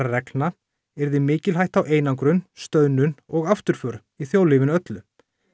reglna yrði mikil hætta á einangrun stöðnun og afturför í þjóðlífinu öllu